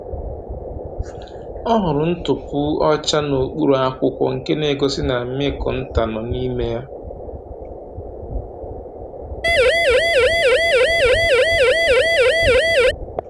O hụrụ ntupu ọcha n’okpuru akwụkwọ, nke na-egosi na Mmịkụ nta nọ n’ime ya.